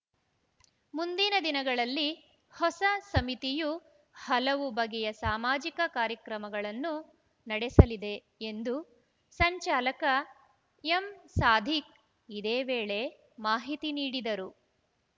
ಮುಂದಿನ ದಿನಗಳಲ್ಲಿ ಹೊಸ ಸಮಿತಿಯು ಹಲವು ಬಗೆಯ ಸಾಮಾಜಿಕ ಕಾರ್ಯಕ್ರಮಗಳನ್ನು ನಡೆಸಲಿದೆ ಎಂದು ಸಂಚಾಲಕ ಎಂಸಾದಿಕ್‌ ಇದೇ ವೇಳೆ ಮಾಹಿತಿ ನೀಡಿದರು